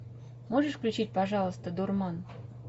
можешь включить пожалуйста дурман